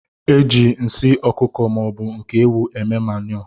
Eji nsị ọkụkọ maọbu nke ewụ eme manu.